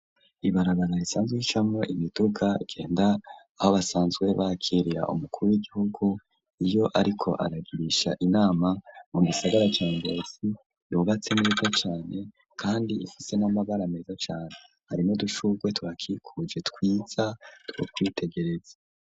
ibarabara risanzwe y'icamo imiduga genda aho basanzwe bakiriya umukuru w'igihugu iyo ariko aragirisha inama mu bisagara ca Ngozi yugatse neza cane kandi ifise n'amabara meza cyane harimo dushubwe twakikuje twiza twakwitegereza.